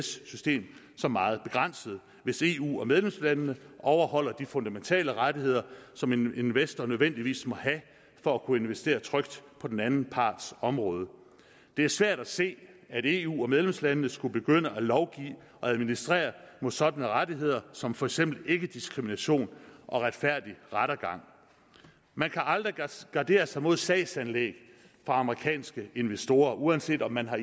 system som meget begrænsede hvis eu og medlemslandene overholder de fundamentale rettigheder som en investor nødvendigvis må have for at kunne investere trygt på den anden parts område det er svært at se at eu og medlemslandene skulle begynde at lovgive og administrere mod sådanne rettigheder som for eksempel ikkediskrimination og retfærdig rettergang man kan aldrig gardere sig mod sagsanlæg fra amerikanske investorer uanset om man har